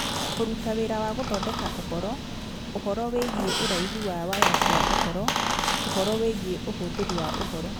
Kũruta wĩra wa gũthondeka ũhoro, ũhoro wĩgiĩ ũraihu wa waya cia ũhoro , ũhoro wĩgiĩ ũhũthĩri wa ũhoro